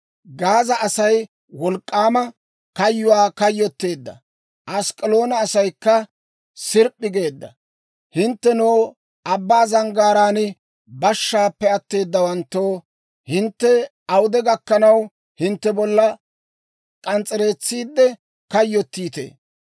Gaaza Asay wolk'k'aama kayyuwaa kayyotteedda; Ask'k'aloona asaykka sirp'p'i geedda. Hinttenoo, abbaa zanggaaraan bashshaappe atteedawanttoo, hintte awude gakkanaw, hintte bollaa k'ans's'eretsiidde kayyottiitee?